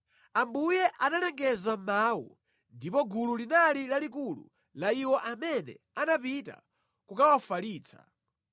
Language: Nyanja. Ambuye analengeza mawu, ndipo gulu linali lalikulu la iwo amene anapita kukawafalitsa;